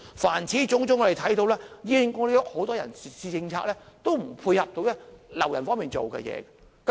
凡此種種，我們看到醫管局很多人事政策也無法配合挽留員工。